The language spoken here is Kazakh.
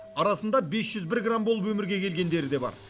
арасында бес жүз бір грамм болып өмірге келгендері де бар